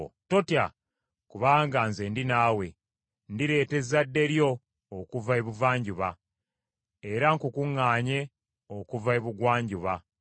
Totya, kubanga nze ndi nawe, ndireeta ezzadde lyo okuva ebuvanjuba era nkukuŋŋaanye okuva ebugwanjuba.